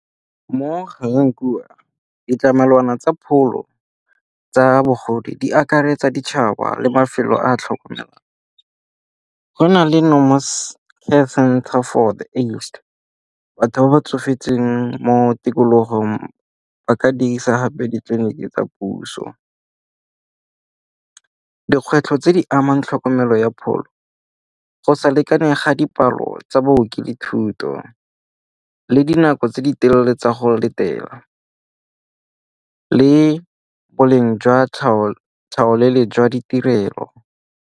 Mo Garankuwa, ditlamelwana tsa pholo tsa bogodi di akaretsa ditšhaba le mafelo a a tlhokomelang. Go na le . Batho ba ba tsofetseng mo tikologong ba ka dirisa gape ditleliniki tsa puso. Dikgwetlho tse di amang tlhokomelo ya pholo go sa lekane ga dipalo tsa booki le thuto le dinako tse di telle tsa go letela le boleng jwa jwa ditirelo.